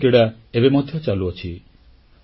ଏସୀୟ କ୍ରୀଡ଼ା ଏବେ ମଧ୍ୟ ଚାଲୁଛି